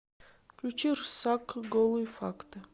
включи рсак голые факты